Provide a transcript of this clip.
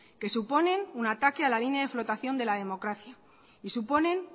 que suponen un ataque a la línea de flotación de la democracia y suponen